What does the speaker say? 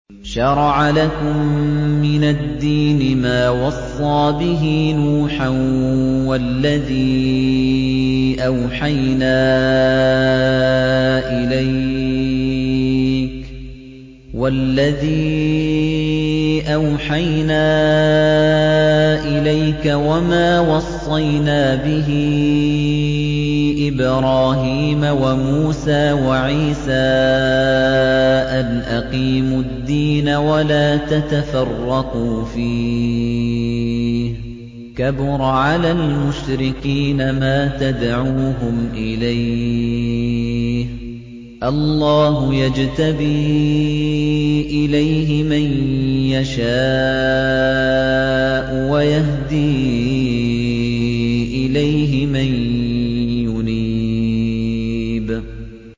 ۞ شَرَعَ لَكُم مِّنَ الدِّينِ مَا وَصَّىٰ بِهِ نُوحًا وَالَّذِي أَوْحَيْنَا إِلَيْكَ وَمَا وَصَّيْنَا بِهِ إِبْرَاهِيمَ وَمُوسَىٰ وَعِيسَىٰ ۖ أَنْ أَقِيمُوا الدِّينَ وَلَا تَتَفَرَّقُوا فِيهِ ۚ كَبُرَ عَلَى الْمُشْرِكِينَ مَا تَدْعُوهُمْ إِلَيْهِ ۚ اللَّهُ يَجْتَبِي إِلَيْهِ مَن يَشَاءُ وَيَهْدِي إِلَيْهِ مَن يُنِيبُ